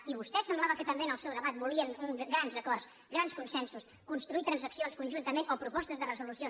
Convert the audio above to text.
i vostès semblava que també en el seu debat volien grans acords grans consensos construir transaccions conjuntament o propostes de resolució